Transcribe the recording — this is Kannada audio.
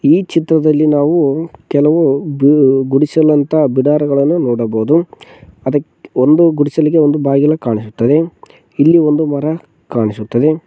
ಈ ಚಿತ್ರದಲ್ಲಿ ನಾವು ಕೆಲವು ಬು ಗುಡಿಸಲಾಂತಹ ಬಿಡರಾಗಳನ್ನು ನೋಡಬಹುದು ಅದಕ್ ಒಂದು ಗುಡಿಸಲಿಗೆ ಒಂದು ಬಾಗಿಲ ಕಾಣಿಸುತ್ತದೆ ಇಲ್ಲಿ ಒಂದು ಮರ ಕಾಣಿಸುತ್ತದೆ.